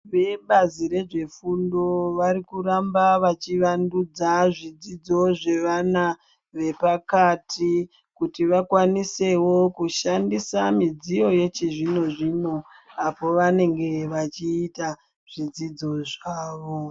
Vebazi rezvefundo vari kuramba veyi vandudza zvidzidzo zvevana vepakati kuti vakwanisewo kushandisa midziyo yechizvino zvino apo vanenge vechiita zvidzidzo zvavo.